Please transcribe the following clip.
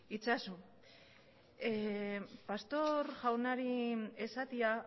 itzazu pastor jaunari esatea